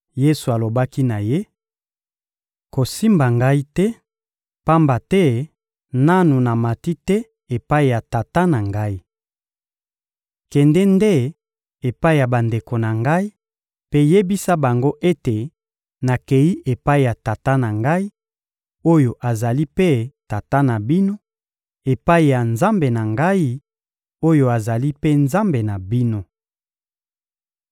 Yesu alobaki na ye: — Kosimba Ngai te, pamba te nanu namati te epai ya Tata na Ngai. Kende nde epai ya bandeko na Ngai mpe yebisa bango ete nakeyi epai ya Tata na Ngai, oyo azali mpe Tata na bino; epai ya Nzambe na Ngai, oyo azali mpe Nzambe na bino.